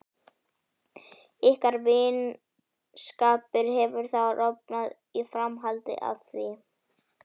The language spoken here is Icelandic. Ykkar vinskapur hefur þá rofnað í framhaldi af því?